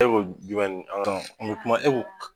E ko jumɛn Abdramane n bɛ kuma